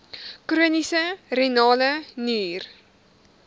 chroniese renale nier